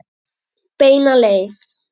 Beina leið.